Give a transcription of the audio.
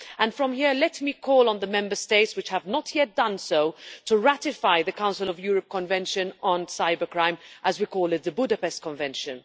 From here, let me call on the Member States which have not yet done so, to ratify the Council of Europe Convention on Cybercrime as we call it, the Budapest Convention.